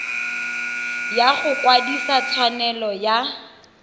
ya go kwadisa tshwanelo ya